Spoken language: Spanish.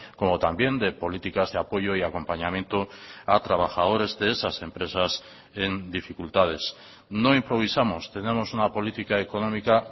como también de políticas de apoyo y acompañamiento a trabajadores de esas empresas en dificultades no improvisamos tenemos una política económica